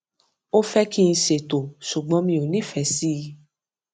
ó fẹ kí n ṣètò ṣùgbọn mi ò nífẹẹ sí